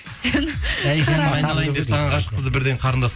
саған ғашық қызды бірден қарындас